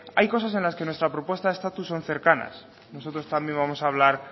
hay cosas en las que nuestras propuestas de estatus son cercanas nosotros también vamos a hablar